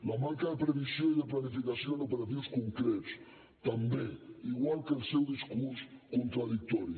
la manca de previsió i de planificació en operatius concrets també igual que el seu discurs contradictori